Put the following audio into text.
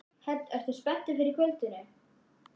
Hödd: Ertu spenntur fyrir kvöldinu?